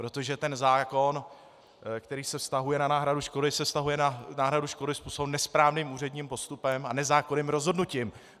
Protože ten zákon, který se vztahuje na náhradu škody, se vztahuje na náhradu škody způsobené nesprávním úředním postupem a nezákonným rozhodnutím.